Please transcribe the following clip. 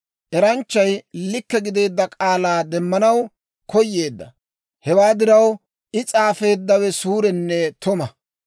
Eranchchay likke gideedda k'aalaa demmanaw koyeedda; hewaa diraw, I s'aafeeddawe suurenne tuma.